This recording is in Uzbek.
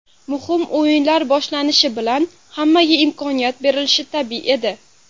Muhim o‘yinlar boshlanishi bilan hammaga imkoniyat berilishi tabiiy edi”.